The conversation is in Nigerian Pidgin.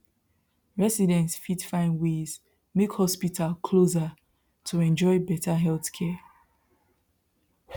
residents fit find ways make hospital closer to enjoy better healthcare